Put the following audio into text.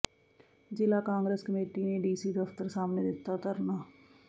ਜਿਲ੍ਹਾ ਕਾਂਗਰਸ ਕਮੇਟੀ ਨੇ ਡੀਸੀ ਦਫ਼ਤਰ ਸਾਹਮਣੇ ਦਿੱਤਾ ਧਰਨਾ